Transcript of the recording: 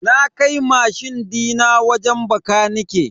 Na kai mashin din wajen bakanike.